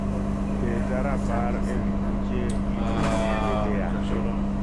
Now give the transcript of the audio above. keta rapar ewi buche gi jotich wetea